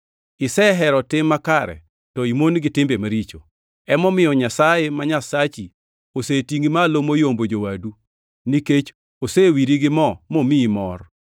Isehero tim makare to imon gi timbe maricho; emomiyo Nyasaye ma Nyasachi osetingʼi malo moyombo jowadu, nikech osewiri gi mo mamiyi mor.” + 1:9 \+xt Zab 45:6,7\+xt*